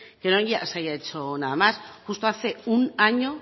que no se haya hecho nada más justo hace un año